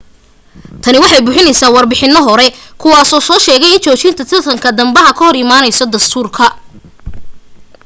tani waxay burinaysaa warbixinano hore kuwaa oo sheegay in joojinta tartan dambaha ka hor imaanayso dastuurka